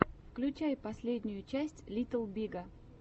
включай последнюю часть литтл бига